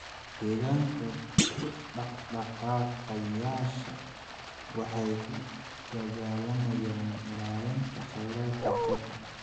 Deegaanka u dhaqdhaqaaqayaasha waxay u dagaalamayaan ilaalinta khayraadka badda.